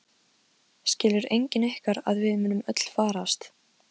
Skilur enginn ykkar að við munum öll farast?